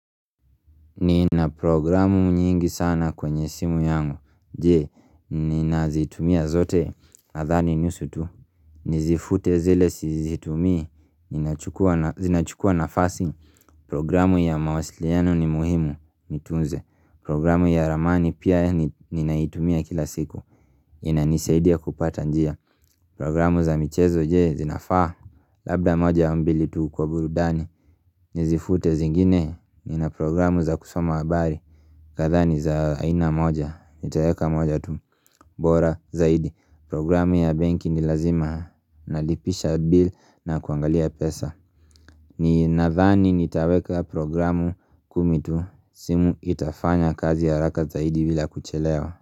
Nina programu nyingi sana kwenye simu yangu je, nina zitumia zote? Nadhani nusu tu nizifute zile sizitumia zinachukua nafasi programu ya mawasiliano ni muhimu nitunze programu ya ramani pia nina itumia kila siku inanisaidia kupata njia Programu za michezo je zinafaa? Labda moja au mbili tu kwa burudani Nizifute zingine nina programu za kusoma habari Kadhani za aina moja, nitaweka moja tu, bora zaidi, programu ya banki ni lazima nalipisha bill na kuangalia pesa Ninadhani nitaweka programu kumi tu, simu itafanya kazi ya haraka zaidi bila kuchelewa.